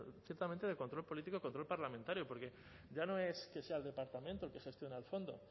estrictamente de control político de control parlamentario porque ya no es que sea el departamento el que gestiona el fondo